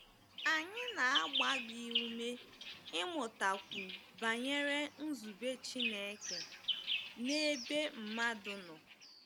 Anyị na-agba gị ume ịmụtakwu banyere nzube Chineke n'ebe mmadụ nọ.